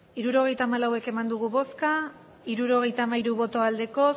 hirurogeita hamalau eman dugu bozka hirurogeita hamairu bai bat